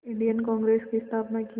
Indian Congress की स्थापना की